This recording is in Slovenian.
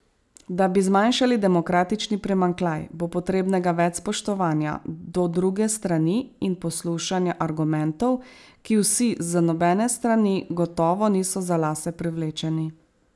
Da bi zmanjšali demokratični primanjkljaj, bo potrebnega več spoštovanja do druge strani in poslušanja argumentov, ki vsi z nobene strani gotovo niso za lase privlečeni.